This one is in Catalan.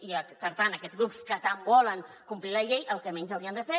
i per tant aquests grups que tant volen complir la llei el que menys haurien de fer